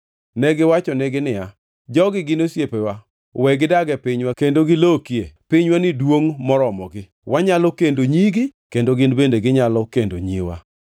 Negiwachonegi niya, “Jogi gin osiepewa. We gidag e pinywa kendo gilokie; pinywani duongʼ moromogi. Wanyalo kendo nyigi kendo gin bende ginyalo kendo nyiwa.